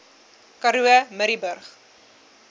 karoo murrayburg